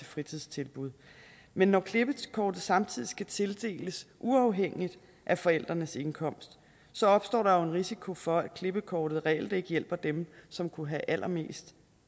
fritidstilbud men når klippekortet samtidig skal tildeles uafhængigt af forældrenes indkomst opstår der jo en risiko for at klippekortet reelt ikke hjælper dem som kunne have allermest